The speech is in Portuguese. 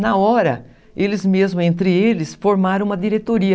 Na hora, eles mesmos, entre eles, formaram uma diretoria.